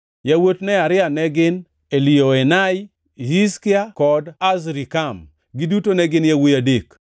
Yawuot Nearia ne gin: Elioenai, Hizkia kod Azrikam; giduto ne gin yawuowi adek.